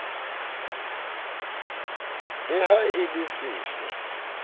le ha e le sefe